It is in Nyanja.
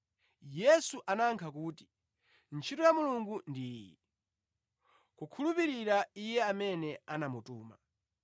Yesu anayankha kuti, “Ntchito ya Mulungu ndi iyi: Kukhulupirira Iye amene anamutuma.”